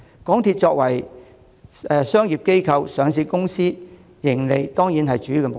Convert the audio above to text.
港鐵作為商業機構、上市公司，當然以追求盈利為主要目標。